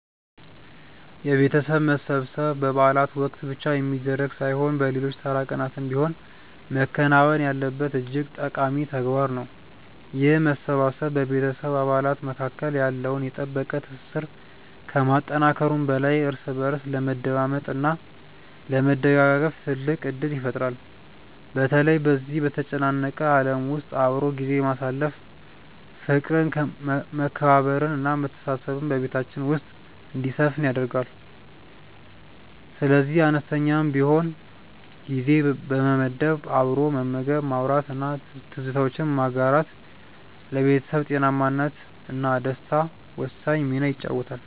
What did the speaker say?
የቤተሰብ መሰብሰብ በበዓላት ወቅት ብቻ የሚደረግ ሳይሆን በሌሎች ተራ ቀናትም ቢሆን መከናወን ያለበት እጅግ ጠቃሚ ተግባር ነው። ይህ መሰባሰብ በቤተሰብ አባላት መካከል ያለውን የጠበቀ ትስስር ከማጠናከሩም በላይ እርስ በእርስ ለመደማመጥ እና ለመደጋገፍ ትልቅ ዕድል ይፈጥራል። በተለይ በዚህ በተጨናነቀ ዓለም ውስጥ አብሮ ጊዜ ማሳለፍ ፍቅርን መከባበርን እና መተሳሰብን በቤታችን ውስጥ እንዲሰፍን ያደርጋል። ስለዚህ አነስተኛም ቢሆን ጊዜ በመመደብ አብሮ መመገብ ማውራት እና ትዝታዎችን ማጋራት ለቤተሰብ ጤናማነት እና ደስታ ወሳኝ ሚና ይጫወታል